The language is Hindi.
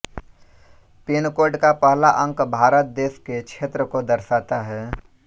पिनकोड का पहला अंक भारत देश के क्षेत्र को दर्शाता है